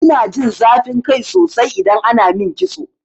Ina jin zafin kai sosai idan ana min kitso.